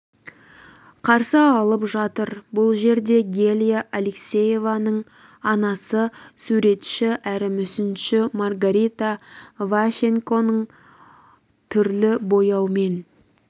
қарсы алып жатыр бұл жерде гелия алексеевнаның анасы суретші әрі мүсінші маргарита ващенконың түрлі бояумен